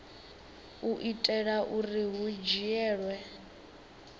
u itela uri hu dzhielwe